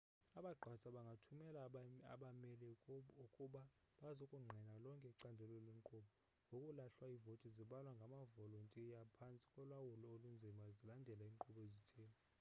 abagqatswa bangathumela abameli ukuba bazokungqina lonke icandelo lenkqubo ngokuhlwa iivoti zibalwa ngamavolontiya phantsi kolawulo olunzima zilandela iinkqubo ezithile